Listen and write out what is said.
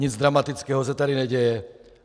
Nic dramatického se tady neděje.